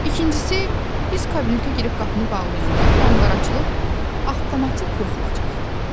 İkincisi, biz kabinetə girib qapını bağlayanda qanqaraçılıq avtomatik yox olacaq.